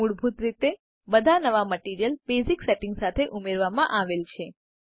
મૂળભૂત રીતે બધા નવા મટીરીયલ બેઝિક સેટિંગ્સ સાથે ઉમેરવામાં આવેલ છે